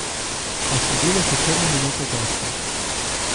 A sledile so črne minute gostov.